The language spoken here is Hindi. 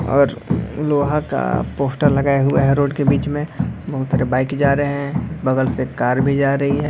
और लोहा का पोस्टर लगाया हुआ है रोड के बीच में बाइक जा रहा है बगल से कार भी जा रही है।